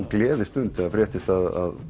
gleðistund þegar fréttist að